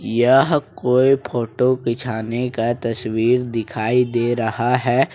यह कोई फोटो बिछाने का तस्वीर दिखाई दे रहा है।